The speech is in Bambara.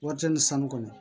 Warimisɛn ni sanu kɔnɔ